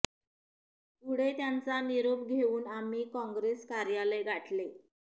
पुढे त्यांचा निरोप घेऊन आम्ही काँग्रेस कार्यालय गाठले